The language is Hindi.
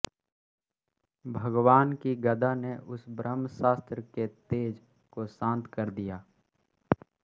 भगवान् की गदा ने उस ब्रह्मास्त्र के तेज को शांत कर दिया